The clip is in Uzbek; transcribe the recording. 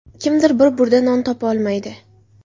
Kimdir bir burda non topolmaydi.